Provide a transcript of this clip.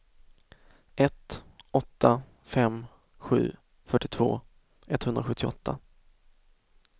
ett åtta fem sju fyrtiotvå etthundrasjuttioåtta